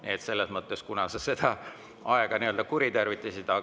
Nii et selles mõttes sa kuritarvitasid aega.